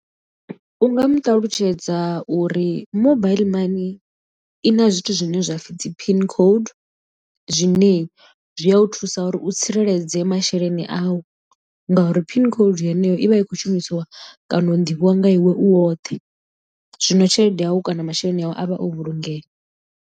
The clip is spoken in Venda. U nga mu ṱalutshedza uri mobaiḽi mani i na zwithu zwine zwapfhi dzi pin code zwine zwi a thusa uri u tsireledze masheleni au ngauri pin code yeneyo i vha i khou shumisiwa kana u ḓivhiwa nga iwe u woṱhe zwino tshelede yau kana masheleni awe avhe o vhulungeya.